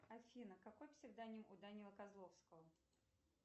афина какой псевдоним у данилы козловского